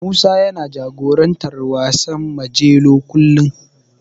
Musa yana jagorantar wasan Majelo kullum.